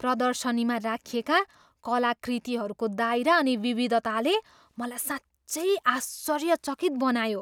प्रदर्शनीमा राखिएका कलाकृतिहरूको दायरा अनि विविधताले मलाई साँच्चै आश्चर्यचकित बनायो।